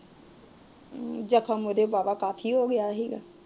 ਜਖਮ ਉਹਦੇ ਵਾਵਾ ਕਾਫੀ ਹੋ ਗਿਆ ਸੀ